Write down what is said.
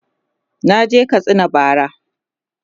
naje Katsina bara